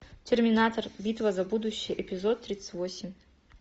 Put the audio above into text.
терминатор битва за будущее эпизод тридцать восемь